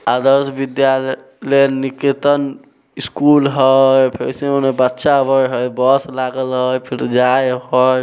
आदर्श Vidyalaya Niketan school है इसमें बच्चा आवे है बस लागल है फिर जाए है।